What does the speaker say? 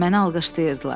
Məni alqışlayırdılar.